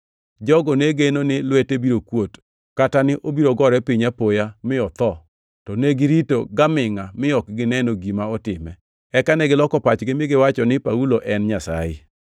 Jogo ne geno ni lwete biro kuot, kata ni nobiro gore piny apoya mi otho, to negirito gamingʼa mi ok gineno gima otime. Eka negiloko pachgi mi giwacho ni Paulo en nyasaye.